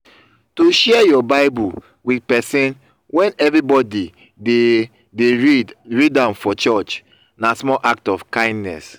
to share your bible with persin when everybody de de read am for church na small act of kindness